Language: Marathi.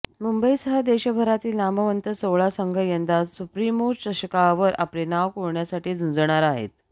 मुंबईसह देशभरातील नामवंत सोळा संघ यंदा सुप्रिमो चषकावर आपले नाव कोरण्यासाठी झुंजणार आहेत